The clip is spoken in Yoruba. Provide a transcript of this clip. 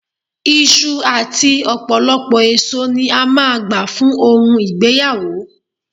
Iṣu àti ọ̀pọ̀lọpọ̀ èso ni a máa gbà fún ohun ìgbéyàwó